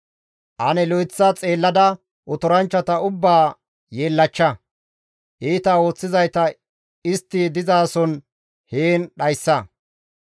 Ane lo7eththa xeellada otoranchchata ubbaa yeellachcha; iita ooththizayta istti dizason heen dhayssa.